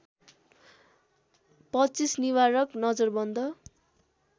२५ निवारक नजरबन्द